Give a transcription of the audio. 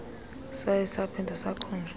saye saphinda sakhunjuzwa